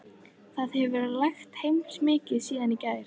Það hefur lægt heilmikið síðan í gær.